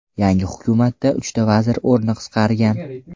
Yangi hukumatda uchta vazir o‘rni qisqargan.